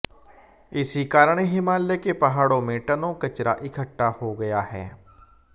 इसी कारण हिमालय के पहाड़ों में टनों कचरा इकट्ठा हो गया है